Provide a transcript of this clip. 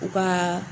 U ka